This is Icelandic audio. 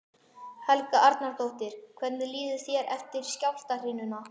Helga Arnardóttir: Hvernig líður þér eftir skjálftahrinuna?